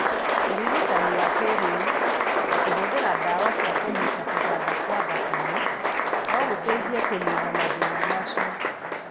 Ũrigitani wa kĩĩrĩu, ta kũhũthĩra ndawa cia kũniina kũganda kwa thakame, no gũteithie kũniina mathĩna macio.